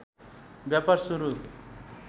व्यापार सुरु